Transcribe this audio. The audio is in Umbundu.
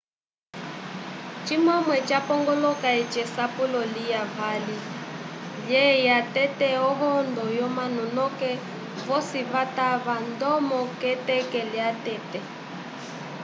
cimwe ca pongolola eci esapulo lya vali lyeya tete o hondo yo manu noke vosi vatava ndomo ke teke lya tete